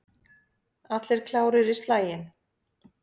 Allir klárir í slaginn?